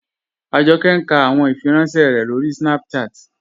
Ajọkẹ̀ n kà àwọn ìfìrànṣẹ̀ rẹ̀ lórí Snapchat.